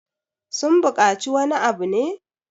sun bukaci wani abu ne?